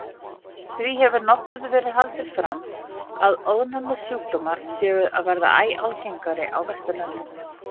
Því hefur nokkuð verið haldið fram að ofnæmissjúkdómar séu að verða æ algengari á Vesturlöndum.